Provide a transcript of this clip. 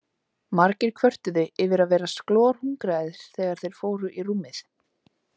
Margir kvörtuðu yfir að vera glorhungraðir þegar þeir fóru í rúmið.